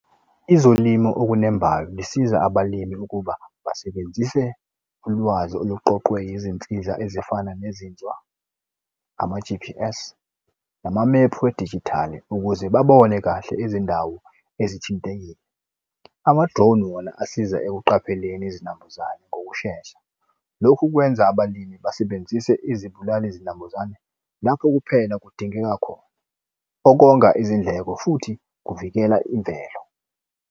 Ezolimo okunembayo zisiza abalimi ukuba basebenzise ulwazi oluqoqwe izinsiza ezifana nezinzwa, ama-G_P_S, namamephu edijithali, ukuze babone kahle izindawo ezithintekile. Ama-drone wona asiza ekuqapheleni izinambuzane ngokushesha. Lokhu kwenza abalimi basebenzise izibulali zinambuzane lapho kuphela kudingeka khona. Okonga izindleko futhi kuvikela imvelo.